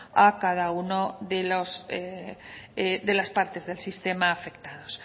a cada una de las partes del sistema afectados